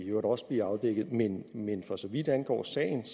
i øvrigt også blive afdækket men men for så vidt angår sagen